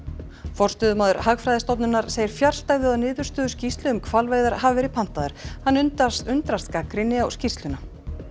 forstöðumaður Hagfræðistofnunar segir fjarstæðu að niðurstöður skýrslu um hvalveiðar hafi verið pantaðar hann undrast undrast gagnrýni á skýrsluna